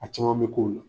A caman bɛ k'o la